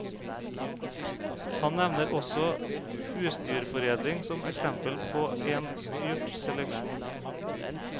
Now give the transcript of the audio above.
Han nevner også husdyrforedling som eksempel på en styrt seleksjon.